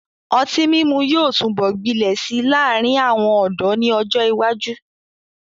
Ọtí mímu yóò túbọ̀ gbilẹ̀ si láàrin àwọn ọ̀dọ́ ni ọ́jọ ìwájú.